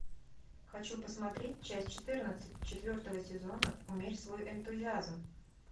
хочу посмотреть часть четырнадцать четвертого сезона умерь свой энтузиазм